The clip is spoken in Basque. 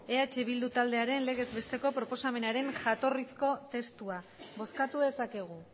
eh bildu taldearen legez besteko proposamenaren jatorrizko testua bozkatu dezakegu